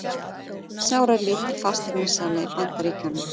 Sáralítil fasteignasala í Bandaríkjunum